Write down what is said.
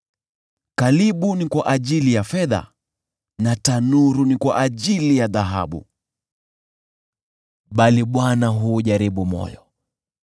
Kalibu ni kwa ajili ya fedha na tanuru ni kwa ajili ya dhahabu, bali Bwana huujaribu moyo.